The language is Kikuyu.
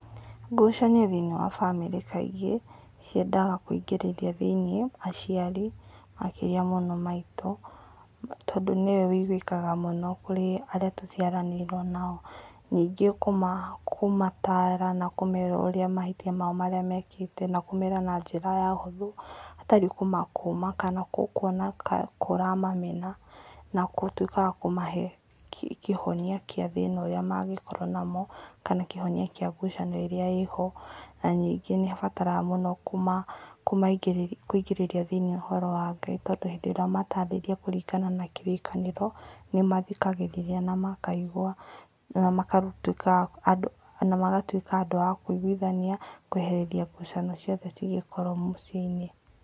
Ngucanio kaingĩ thĩinĩ wa bamĩrĩ kaingĩ ciendaga kũingĩrĩria thĩinĩ aciari makĩria mũno maitũ tondũ nĩwe ũigwĩka mũno kũrĩ arĩa tũciaranĩirwo nao, ningĩ kũmataara na kũmera ũrĩa mahĩtia mao marĩa mĩkĩte na kũmera na njĩra ya ũhũthũ hatarĩ kũmakũma kana kuona kora mamena na gũtuĩka wa kũmahe kĩhonia kĩa thĩina ũrĩa mangĩkorwo namo kana kĩhonia kĩa ngucanio ĩrĩa ĩho na nĩngĩ ĩbataraga mũno kũingĩrĩria thĩini ũhoro wa ngai tondũ hĩndĩ ĩrĩa watarĩria kũringana na kĩrĩkanĩro nĩmathikagĩrĩria na makaigua na magatuĩka andũ akũigwithania kweheria ngucanio ciothe cingĩkorwo mũciĩ-inĩ.